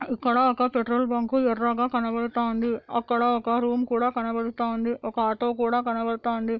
ఇక్కడ ఒక petrol bunk ఎర్రగా కనబడతా ఉంది. అక్కడ ఒక రూమ్ కూడా కనబడతా ఉంది ఒక ఆటో కూడా కనబడతాంది.